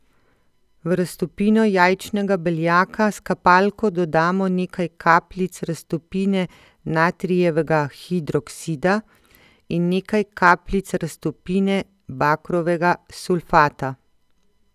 V raztopino jajčnega beljaka s kapalko dodamo nekaj kapljic raztopine natrijevega hidroksida in nekaj kapljic raztopine bakrovega sulfata.